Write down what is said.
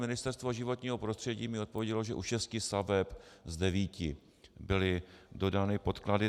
Ministerstvo životního prostředí mi odpovědělo, že u šesti staveb z devíti byly dodány podklady.